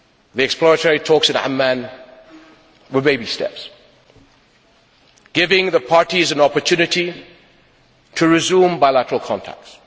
The exploratory talks in Amman were baby steps, giving the parties an opportunity to resume bilateral contacts.